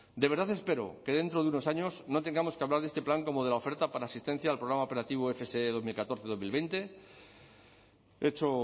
de verdad espero que dentro de unos años no tengamos que hablar de este plan como de la oferta para asistencia al programa operativo fse dos mil catorce dos mil veinte hecho